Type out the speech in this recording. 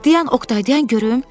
Dayan Oqtay, dayan görüm.